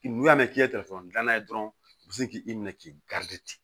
N'u y'a mɛn k'i ye dilan n'a ye dɔrɔn u bi se k'i minɛ k'i